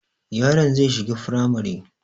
Yaron zai shiga firamare